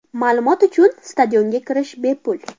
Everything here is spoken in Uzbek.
Ma’lumot uchun stadionga kirish bepul.